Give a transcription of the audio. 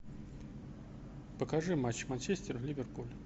покажи матч манчестер ливерпуль